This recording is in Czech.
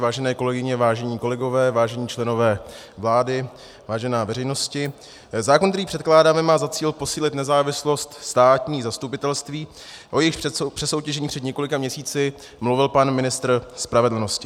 Vážené kolegyně, vážení kolegové, vážení členové vlády, vážená veřejnosti, zákon, který předkládáme, má za cíl posílit nezávislost státních zastupitelství, o jejichž přesoutěžení před několika měsíci mluvil pan ministr spravedlnosti.